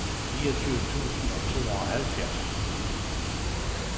niogtyve tusind og tooghalvtreds